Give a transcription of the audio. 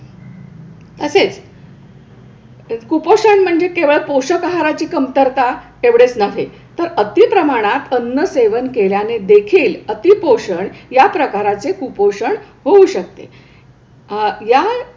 तसेच कुपोषण म्हणजे केवळ पोषक आहाराची कमतरता एवढेच नव्हे तर अति प्रमाणात अन्न सेवन केल्याने देखील अतिपोषण या प्रकाराचे कुपोषण होऊ शकते. अह या,